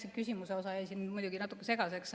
See küsimuse osa jäi siin muidugi natuke segaseks.